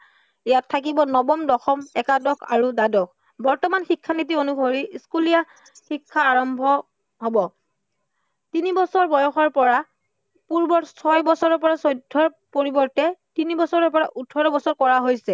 ইয়াত থাকিব নৱম, দশম, একাদশ আৰু দ্বাদশ। বৰ্তমান শিক্ষানীতি অনুসৰি স্কুলীয়া শিক্ষা আৰম্ভ হব। তিনি বছৰ বয়সৰ পৰা পূৰ্বৰ ছয় বছৰৰ পৰা চৈধ্য়ৰ পৰিবৰ্তে তিনি বছৰৰ পৰা ওঠৰ বছৰ কৰা হৈছে।